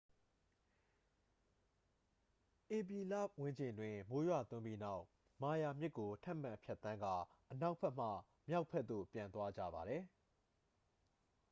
ဧပြီလဝန်းကျင်တွင် မိုးရွာသွန်းပြီးနောက် မာယာမြစ်ကို ထပ်မံဖြတ်သန်းကာ အနောက်ဘက်မှ မြောက်ဘက်သို့ ပြန်သွားကြပါသည်